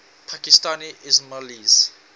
pakistani ismailis